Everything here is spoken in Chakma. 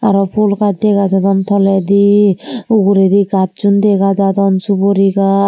aro phul gaaj dega jadon toledi uguredi gacchun dega jadon suguri gach.